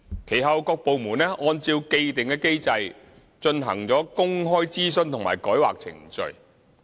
其後，各部門按照既定機制進行公開諮詢及改劃程序。